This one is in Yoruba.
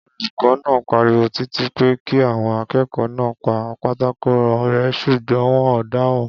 Olùkó̩ náà pariwo títí pé kí àwo̩n aké̩kò̩ó̩ náà pa pátákó ré̩ s̩ùgbó̩n wo̩n ò dáhùn